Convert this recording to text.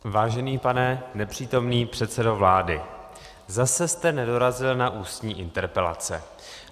Vážený pane nepřítomný předsedo vlády, zase jste nedorazil na ústní interpelace.